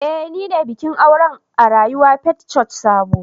Eh nine bikin aure a rayuwa Faith Church Sabo